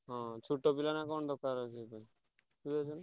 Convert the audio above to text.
ହଁ ଛୋଟ ପିଲାନା କଣ ଦକାର ଅଛି ସେତେ।